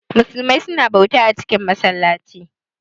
Musumai suna bauta a cikin masallaci